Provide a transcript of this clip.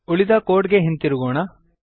ಉಳಿದ ಕೋಡ್ ಗೆ ಹಿಂದಿರುಗೋಣ